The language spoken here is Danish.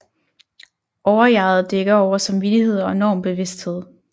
Overjeget dækker over samvittighed og normbevidsthed